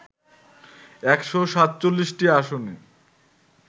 ১৪৭টি আসনে